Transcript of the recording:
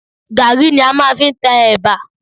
Gàrí ni a máa fi ń tẹ ẹ̀bà